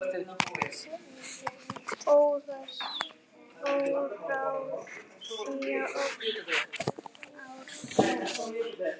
Óráðsía óx ár frá ári.